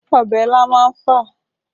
Ọbẹ̀ ilá má ń fà